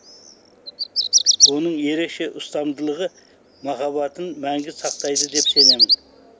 оның ерекше ұстамдылығы махаббатын мәңгі сақтайды деп сенемін